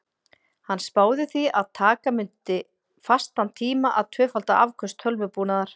Hann spáði því að taka mundi fastan tíma að tvöfalda afköst tölvubúnaðar.